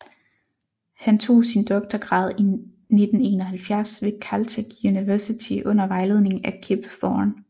Han tog sin doktorgrad i 1971 ved Caltech University under vejledning af Kip Thorne